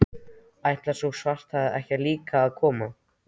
Ætlar sú svarthærða ekki líka að koma?